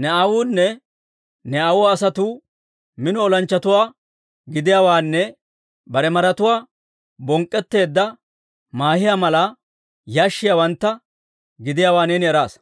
Ne aawunne ne aawuwaa asatuu mino olanchchatuwaa gidiyaawaanne bare maratuwaa bonk'k'etteedda maahiyaa mala yashshiyaawantta gidiyaawaa neeni eraasa.